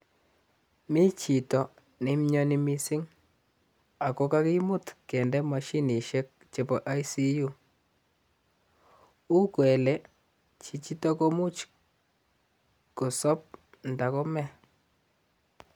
Mi chito ne mioni mising, ako kakimut kende moshinishek chebo intensive care unit uu kele chichito komuch kosop nda kome.